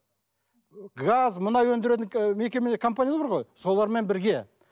газ мұнай өндіретін мекеме компаниялар бар ғой солармен бірге